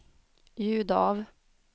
ljud av